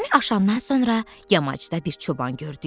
Təpəni aşandan sonra yamacda bir çoban gördük.